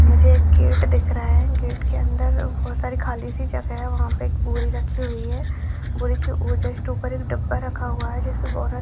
मुझे एक गेट दिख रहा है गेट के अंदर बहुत सारी खाली सी जगह है वहाँ पे एक बोरी रखी हुई है बोरी के जस्ट ऊपर एक डब्बा रखा हुआ है जिसका बार्डर --